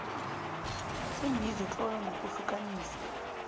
seembizo tlola ngokuhlukanisa